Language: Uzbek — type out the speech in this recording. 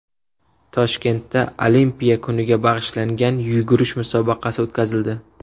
Toshkentda Olimpiya kuniga bag‘ishlangan yugurish musobaqasi o‘tkazildi.